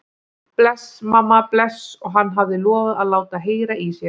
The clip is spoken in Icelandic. Bless, mamma, bless, og hann hafði lofað að láta heyra í sér.